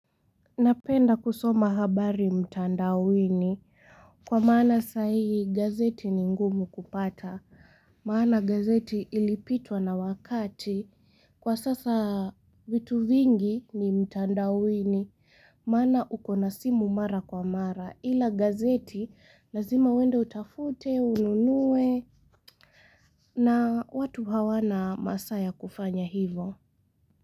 Napenda kusoma habari mtandawini kwa maana sahihi gazeti ni ngumu kupata. Maana gazeti ilipitwa na wakati. Kwa sasa vitu vingi ni mtandawini. Maana ukona simu mara kwa mara. Ila gazeti lazima uende utafute, ununuwe na watu hawana masaa ya kufanya hivo.